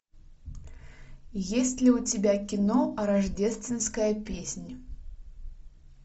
есть ли у тебя кино рождественская песнь